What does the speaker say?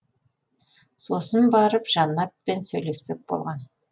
сосын барып жаннатпен сөйлеспек болған